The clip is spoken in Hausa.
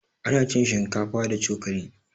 Ana cin shinkafa da cokali